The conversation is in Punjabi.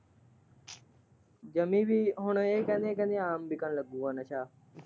ਕਹਿੰਦੀ ਸੀ ਹੁਣ ਇਹ ਕਹਿੰਦੇ, ਕਹਿੰਦੇ ਆਮ ਵਿੱਕਣ ਲੱਗੂਗਾ ਨਸਾ।